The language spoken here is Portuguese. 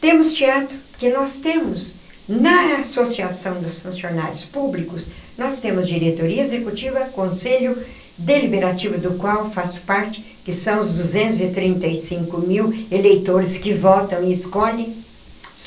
Temos teatro, porque nós temos, na Associação dos Funcionários Públicos, nós temos diretoria executiva, conselho deliberativo do qual faço parte, que são os duzentos e trinta e cinco mil eleitores que votam e escolhem.